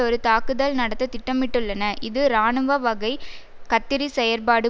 ஒரு தாக்குதல் நடத்த திட்டமிட்டுள்ளன இது இராணுவ வகை கத்திரிச் செயற்பாடு